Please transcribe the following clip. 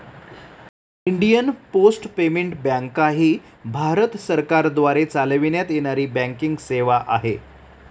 Indian post payment बँकाही भारत सरकारद्वारे चालविण्यात येणारी बँकिंग सेवा आहे.